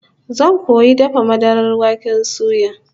Zan koyi dafa madarar waken suya